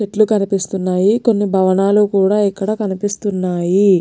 చెట్లు కనిపిస్తున్నాయికొన్ని భవనాలు కూడా ఇక్కడ కనిపిస్తున్నాయి.